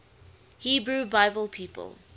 hebrew bible people